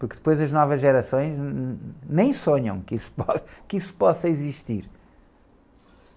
Porque depois as novas gerações nem sonham que isso. que isso possa existir.